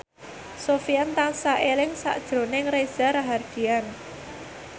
Sofyan tansah eling sakjroning Reza Rahardian